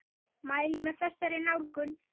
Mæli með þessari nálgun!